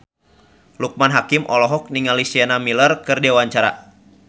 Loekman Hakim olohok ningali Sienna Miller keur diwawancara